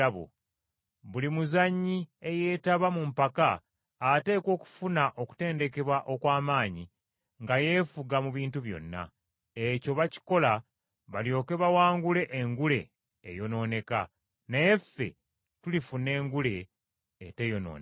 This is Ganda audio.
Buli muzanyi eyeetaba mu mpaka ateekwa okufuna okutendekebwa okw’amaanyi nga yeefuga mu bintu byonna. Ekyo bakikola balyoke bawangule engule eyonooneka. Naye ffe tulifuna engule eteyonooneka.